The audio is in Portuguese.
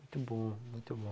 Muito bom, muito bom.